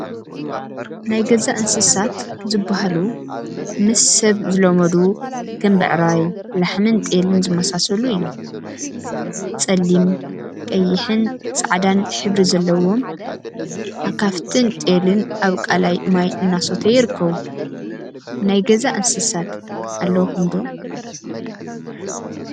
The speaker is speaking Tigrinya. ናይ ገዛ እንስሳት ናይ ገዛ እንስሳት ዝበሃሉ ምስ ሰብ ዝለመዱ ከም ብዕራይ፣ ላሕሚን ጤልን ዝመሳሰሉ እዮም፡፡ ፀሊም፣ ቀይሕን ፃዕዳን ሕብሪ ዘለዎም አካፍትን ጤልን አብ ቃላይ ማይ እናሰተዩ ይርከቡ፡፡ ናይ ገዛ እንስሳት አለውኩም ዶ?